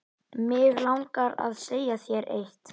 Mig langar að segja þér eitt.